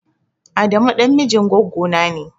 Adamu ɗan mijin gwaggona ne.